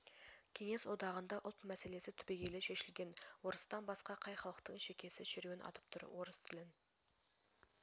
кеңес одағында ұлт мәселесі түбегейлі шешілген орыстан басқа қай халықтың шекесі шеруен атып тұр орыс тілін